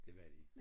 Det var de